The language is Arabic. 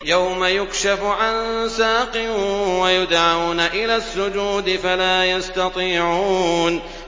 يَوْمَ يُكْشَفُ عَن سَاقٍ وَيُدْعَوْنَ إِلَى السُّجُودِ فَلَا يَسْتَطِيعُونَ